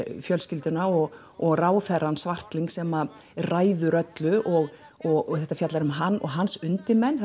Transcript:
fjölskylduna og og ráðherrann Svartlyng sem ræður öllu og og þetta fjallar um hann og hans undirmenn